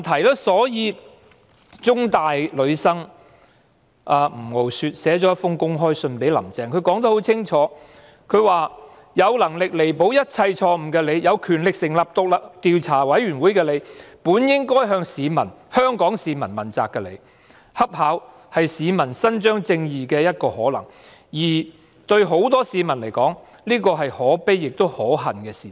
香港中文大學的女學生吳傲雪向"林鄭"撰寫了一封公開信，信中清楚指出："有能力彌補一切錯誤的你、有權力成立調查委員會的你、本應該向香港市民問責的你，恰巧是市民伸張正義的一個可能，而對很多市民而言，這是可悲且可恨的事實。